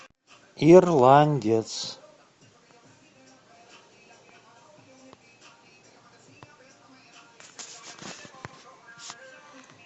ирландец